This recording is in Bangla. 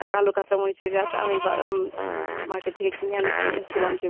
আহ কালো কাঁচা মরিচের গাছ আমি বা উম market থেকে কিনে আনি~ এনেছিলাম যে